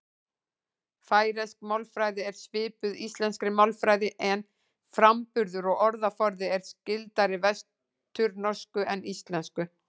Færeysk málfræði er svipuð íslenskri málfræði en framburður og orðaforði er skyldari vesturnorsku en íslensku.